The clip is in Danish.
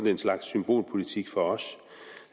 en slags symbolpolitik for os